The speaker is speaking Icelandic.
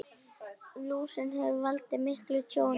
Lúsin hefur valdið miklu tjóni.